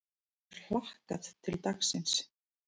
Hefur hlakkað til dagsins.